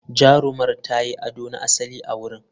Jarumar ta yi ado na asali a wurin.